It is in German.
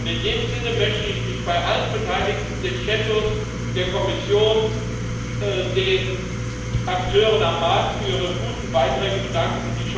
In diesem Sinne möchte ich mich bei allen Beteiligten den Schattenberichterstattern, der Kommission, den Akteuren am Markt für ihre guten Beiträge bedanken.